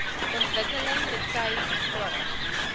ontwikkeling betuig graag